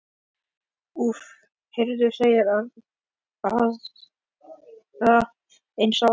Úff, hefurðu séð aðra eins ást?